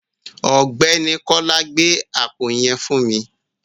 Ọ̀gbẹ́ni Kọ́lá, gbé àpò yẹn fún mi.